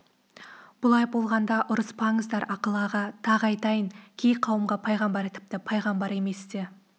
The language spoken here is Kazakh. бұлай болғанда ұрыспаңыздар ақыл аға тағы айтайын кей қауымға пайғамбар тіпті пайғамбар емес те